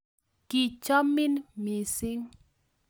kichomin mising